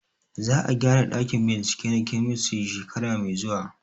Za a gyara ɗakin bincike na kemistri shekara mai zuwa